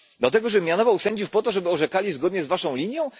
Do tego, żeby mianowano sędziów po to, żeby orzekali zgodnie z waszą linią?